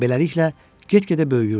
Beləliklə, get-gedə böyüyürdüm.